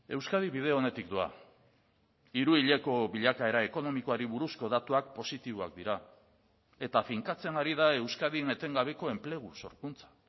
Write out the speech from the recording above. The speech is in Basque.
euskadi bide onetik doa hiru hileko bilakaera ekonomikoari buruzko datuak positiboak dira eta finkatzen ari da euskadin etengabeko enplegu sorkuntza